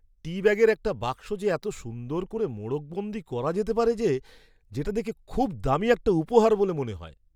টি ব্যাগের একটা বাক্স যে এত সুন্দর করে মোড়কবন্দী করা যেতে পারে যে, যেটা দেখে খুব দামি একটা উপহার বলে মনে হয়।